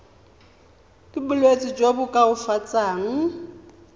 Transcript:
ka bolwetsi jo bo koafatsang